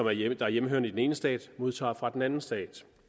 er hjemmehørende i den ene stat modtager fra den anden stat